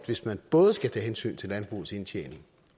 hvis man både skal tage hensyn til landbrugets indtjening